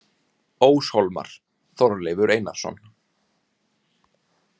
Óshólmar: Þorleifur Einarsson.